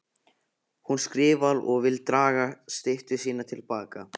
Hún skrifar og vill draga styttu sína til baka.